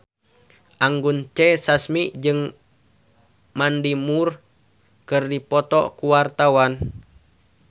Anggun C. Sasmi jeung Mandy Moore keur dipoto ku wartawan